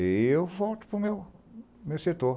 E eu volto para o meu o meu setor.